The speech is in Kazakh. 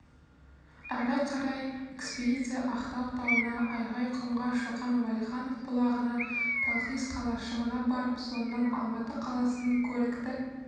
ары қарай экспедиция ақтау тауына айғайқұмға шоқан уәлиханов бұлағына талхиз қалашығына барып соңынан алматы қаласының көрікті